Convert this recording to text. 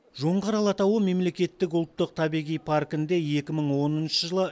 жоңғар алатауы мемлекеттік ұлттық табиғи паркінде екі мың оныншы жылы